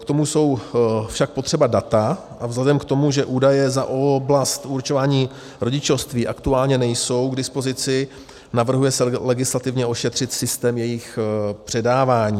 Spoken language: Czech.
K tomu jsou však potřeba data, a vzhledem k tomu, že údaje za oblast určování rodičovství aktuálně nejsou k dispozici, navrhuje se legislativně ošetřit systém jejich předávání.